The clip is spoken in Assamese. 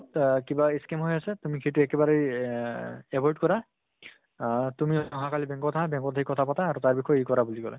আহ কিবা scam হৈ আছে, তুমি সেইটো একেবাৰে এহ্হ avoid কৰা। আহ তুমি অহা কালি bank ত আহা। bank ত আহি কথা পাতা আৰু তাৰ বিষয়ে এ কৰা বুলি কলে।